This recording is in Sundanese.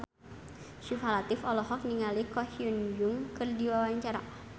Syifa Latief olohok ningali Ko Hyun Jung keur diwawancara